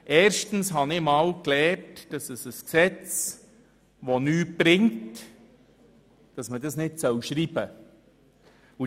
Erstens habe ich einmal gelernt, dass man ein Gesetz, das nichts bringt, nicht schreiben soll.